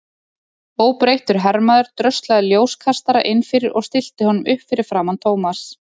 Óbreyttur hermaður dröslaði ljóskastara inn fyrir og stillti honum upp fyrir framan Thomas.